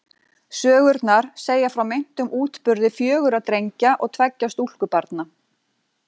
Sögurnar segja frá meintum útburði fjögurra drengja og tveggja stúlkubarna.